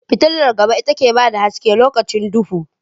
Fitular gaba ita ke bada haske lokacin duhu